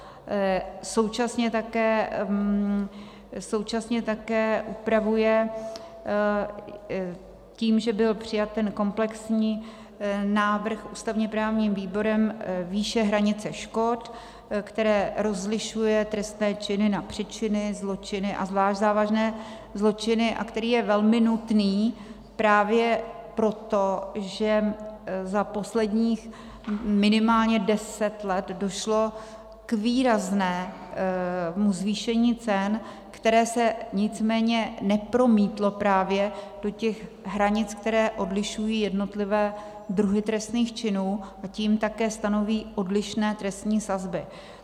Současně také upravuje tím, že byl přijat ten komplexní návrh ústavně-právním výborem, výše hranice škod, který rozlišuje trestné činy na přečiny, zločiny a zvlášť závažné zločiny a který je velmi nutný právě proto, že za posledních minimálně deset let došlo k výraznému zvýšení cen, které se nicméně nepromítlo právě do těch hranic, které odlišují jednotlivé druhy trestných činů, a tím také stanoví odlišné trestní sazby.